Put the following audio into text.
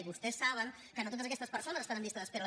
i vostès saben que no totes aquestes persones estan en llista d’espera